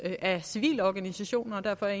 af civilorganisationer derfor er